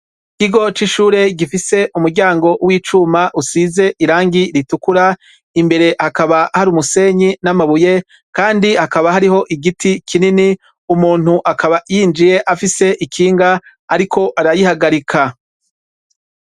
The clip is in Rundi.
Ikigo c’ishure gifise umuryango w’icuma usize irangi ritukura, imbere hakaba har’umusenyi n’amabuye Kandi hakaba hariho igiti kinini, umuntu akaba yinjiye afise ikinga ariko arayihagarika.